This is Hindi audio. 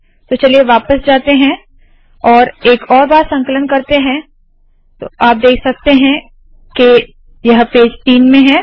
तो चलिए वापस जाते है और एक और बार संकलन करते है तो आप देख सकते है यह पेज तीन में है